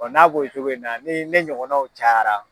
n'a b'o cogo in na ni ne ɲɔgɔnnaw cayara